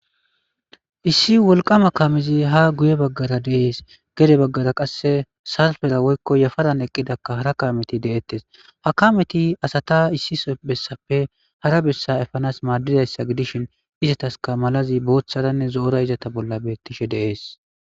Issi wolqama kaamezi ha guuye baagara dees gede baagara qasse yafaran eqidda haara kaametti deettess ha kametti assatta issi bessappe haara bessa eppanass madizassa gidishin izattasika maalazi boththaranne zoora izatta bolla bettishe deess.